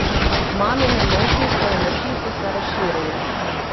Mamine nosnice in oči so se razširile.